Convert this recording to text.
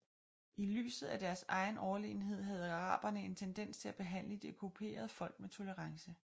I lyset af deres egen overlegenhed havde araberne en tendens til at behandle de okkuperede folk med tolerance